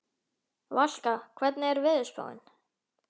Valka, hvernig er veðurspáin?